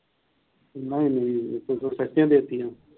ਨਹੀਂ ਨਹੀਂ ਇਹ ਤਾਂ ਤੁਸੀ ਸਸਤੀਆਂ ਦੇਤੀਆਂ।